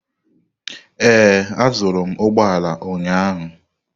Ee, azụrụ m ụgbọ ala ụnyahụ.